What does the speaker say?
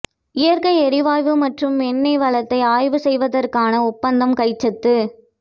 இயற்கை எரிவாயு மற்றும் எண்ணெய் வளத்தை ஆய்வு செய்வதற்கான ஒப்பந்தம் கைச்சாத்து